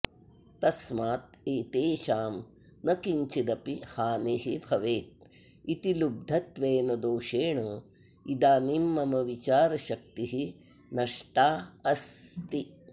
तस्मात् एतेषां न किञ्चिदपि हानिः भवेत् इति लुब्धत्वेन दोषेण इदानीं मम विचारशक्तिः नष्टा अस्ति